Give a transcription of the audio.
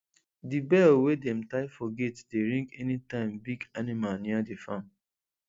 the bell wey dem tie for gate dey ring anytime big animal near the farm